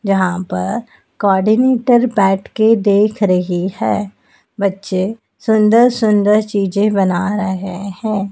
यहां पर कोऑर्डिनेटर बैठकर देख रही है बच्चे सुंदर सुंदर चीजें बना रहे हैं।